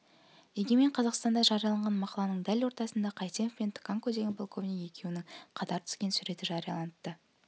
егемен қазақстанда жарияланған мақаланың дәл ортасында қайсенов пен тканко деген полковник екеуінің қатар түскен суреті жарияланыпты